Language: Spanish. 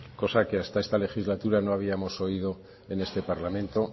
cosa que hasta esta legislatura no habíamos oído en este parlamento